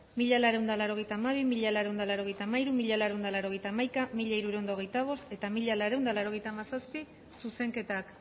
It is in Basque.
mila laurehun eta laurogeita hamabi mila laurehun eta laurogeita hamairu mila laurehun eta laurogeita hamaika mila hirurehun eta hogeita bost eta mila laurehun eta laurogeita hamazazpi zuzenketak